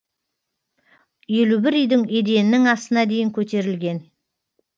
елу бір үйдің еденінің астына дейін көтерілген